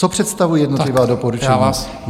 Co představují jednotlivá doporučení?